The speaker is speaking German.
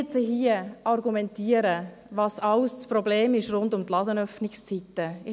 Jetzt könnte ich hier argumentieren, was rund um die Ladenöffnungszeiten alles ein Problem ist.